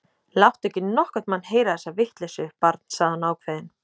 Láttu ekki nokkurn mann heyra þessa vitleysu, barn sagði hún ákveðin.